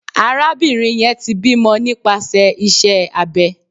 Arabinrin yẹn ti bimọ nipasẹ ise abė